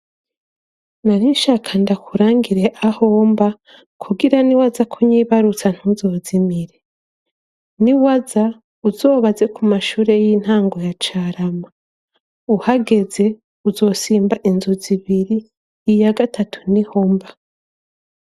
Narinshaka ndakurangire aho mba kugira n'iwaza kunyibarutsa ntuzozimire, niwaza uzobaze ku mashure y'intango ya Carama, uhageze uzosimba inzu zibiri, iya gatatu niho mba.